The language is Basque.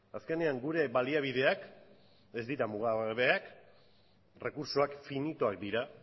azkenean gure baliabideak ez dira mugagabeak errekurtsoak finitoak dira